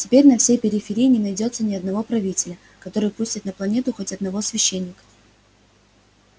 теперь на всей периферии не найдётся ни одного правителя который пустит на планету хоть одного священника